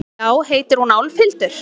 Já, heitir hún Álfhildur?